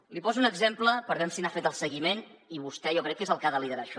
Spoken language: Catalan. n’hi poso un exemple per veure si n’ha fet el seguiment que vostè jo crec que és el que ha de liderar això